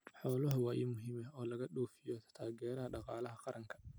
Xooluhu waa il muhiim ah oo laga dhoofiyo oo taageera dhaqaalaha qaranka.